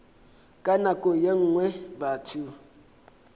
ka nako ye nngwe batho